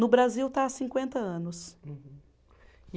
No Brasil está há cinquenta anos. Uhum. E